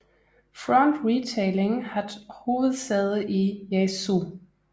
Front Retailing hat hovedsæde i Yaesu